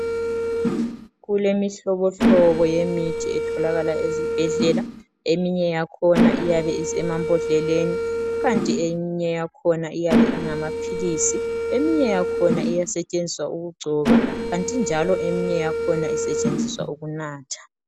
Kulemihlobohlobo yemithi etholakala ezibhedlela, eminye yakhona iyabe isemambodleleni kukanti eyinye yakhona iyabe ingamaphilisi, eyinye yakhona iyasetshenziswa ukugcoba kanti njalo eminye yakhona isetshenziswa ukunatha.